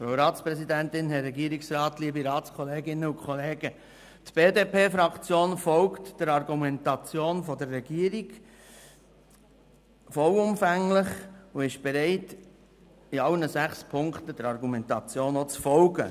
Die BDP-Fraktion folgt der Argumentation der Regierung vollumfänglich und ist bereit, in allen sechs Ziffern der Argumentation zu folgen.